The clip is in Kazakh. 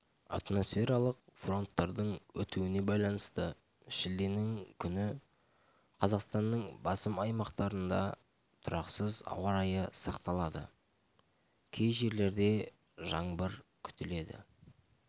атмосфералық фронттардың өтуіне байланысты шілденің күні қазақстанныңбасым аймақтарында тұрақсыз ауа райы сақталады кей жерлерде жаңбыр күтіледі